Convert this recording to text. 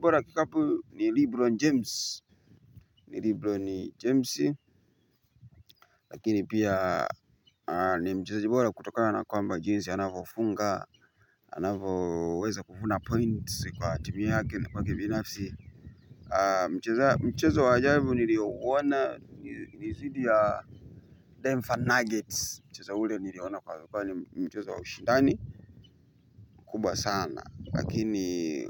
Bora kikapu ni Lebron James. Ni Lebron James. Lakini pia ni mchezoji bora kutokana na kwamba jinsi anavyofunga anavyoweza kuvuna points kwa team yake na kwa binafsi. Mchezo wa ajabu niliouona ni dhidi ya Denver Nuggets mchezo ule niliona kwa kwa ni mchezo wa ushindani kubwa sana lakini